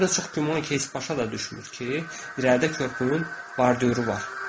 Həm də çox güman ki, heç başa da düşmür ki, irəlidə körpünün bordyüru var.